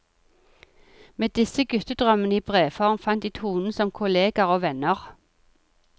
Med disse guttedrømmene i brevform fant de tonen som kolleger og venner.